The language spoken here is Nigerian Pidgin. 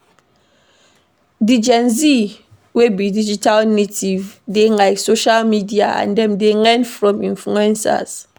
Di Gen Z we be digital native dey like social media and dem dey learn from influencers